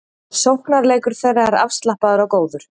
Sóknarleikur þeirra er afslappaður og góður